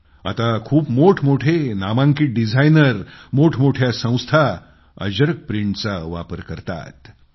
आता खूप मोठ मोठे नामांकित डिझायनर मोठमोठी संस्थाने अजरक प्रिंटचा वापर करायला लागले आहेत